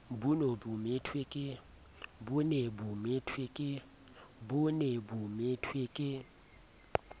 bo ne bo methwe ke